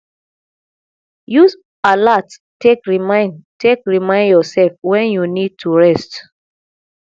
use alart take remind take remind yourself when you need to rest